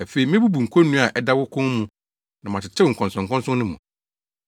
Afei, mebubu konnua a ɛda wo kɔn mu na matetew nkɔnsɔnkɔnsɔn no mu.”